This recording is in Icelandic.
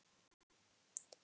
Þinn nafni, Birgir Hrafn.